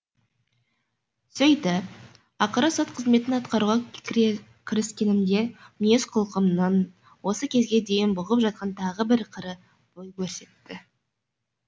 сөйтіп ақыры сот қызметін атқаруға кіріскенімде мінез құлқымның осы кезге дейін бұғып жатқан тағы бір қыры бой көрсетті